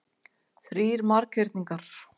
Þrír marghyrningar.